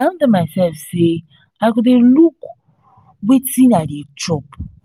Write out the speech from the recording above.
i don tell my self say i go dey look wetin i dey chop